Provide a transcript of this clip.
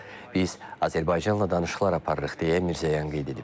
Biz Azərbaycanla danışıqlar aparırıq deyə Mirzəyan qeyd edib.